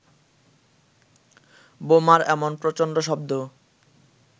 বোমার এমন প্রচন্ড শব্দ